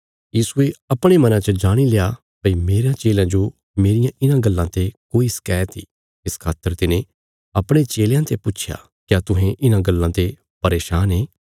यीशुये अपणे मना च जाणील्या भई मेरयां चेलयां जो मेरियां इन्हां गल्लां ते कोई शकैत इ इस खातर तिने अपणे चेलयां ते पुच्छया क्या तुहें इन्हां गल्लां ते परेशान ये